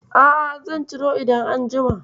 A'a, zan ciro idan an jima.